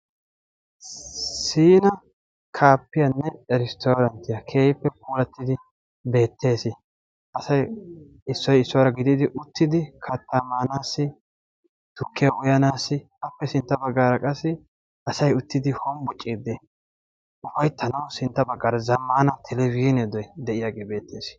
Siina kaafiyanne eristooranttiya keehippe puulattidi beettees. Asay issoy issuwaara gididi uttidi kattaa maanaassi tukkiyaa uyanaassi appe sintta baggaara qassi asay hombbociiddi ufayittanawu sintta baggaara zammaana telabizhiinee de'iyagee beettees.